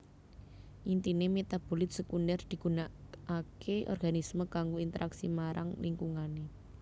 Intine metabolit sekunder digunakake organisme kanggo interaksi marang lingkungane